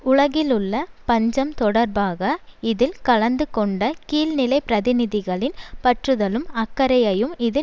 உலகிலுள்ள பஞ்சம் தொடர்பாக இதல் கலந்து கொண்ட கீழ்நிலை பிரதிநிதிகளின் பற்றுதலும் அக்கறையையும் இது